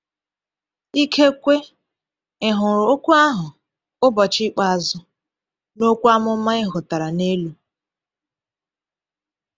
Ikekwe ị hụrụ okwu ahụ “ụbọchị ikpeazụ” n’okwu amụma e hotara n’elu.